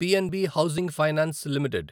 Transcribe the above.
PNB housing finance limited